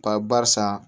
Ba barisa